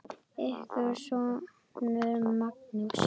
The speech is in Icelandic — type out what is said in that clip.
Ykkar sonur, Magnús.